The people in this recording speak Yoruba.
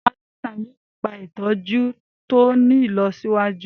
Àwọn aláìsàn yóò gba ìtọ́jú tó ti ní ìlọsíwájú.